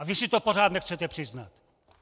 A vy si to pořád nechcete přiznat.